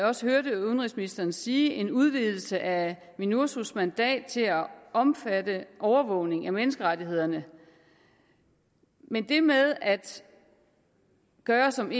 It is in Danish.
også hørte udenrigsministeren sige en udvidelse af minursos mandat til at omfatte overvågning af menneskerettighederne men det med at gøre som